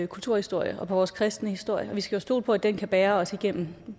kulturhistorie og på vores kristne historie og vi skal stole på at den kan bære også gennem